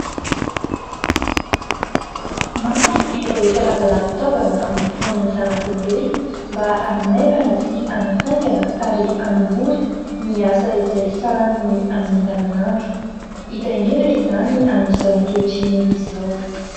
Maro ireo karazana fitaovana noforonin'ny zanak'olombelona mba hanamaivana sy hanafaingana ary hanamora ny asa izay sahaniny amin'ny andavan'andro hita indrindra izany amin'izao ankehitriny izao.